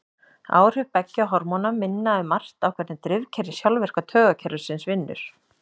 Áhrif beggja hormóna minna um margt á hvernig drifkerfi sjálfvirka taugakerfisins vinnur.